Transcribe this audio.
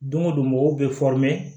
Don o don mɔgɔw bɛ